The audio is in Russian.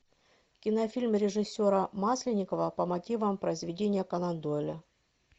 кинофильм режиссера масленникова по мотивам произведения конан дойла